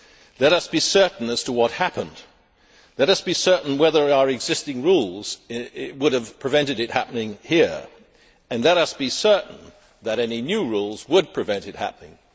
Let us be certain as to what happened. Let us be certain whether our existing rules would have prevented it happening here, and let us be certain that any new rules would prevent it happening.